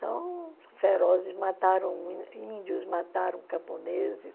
São ferozes, mataram índios, mataram camponeses.